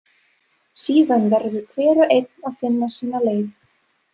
Síðan verður hver og einn að finna sína leið.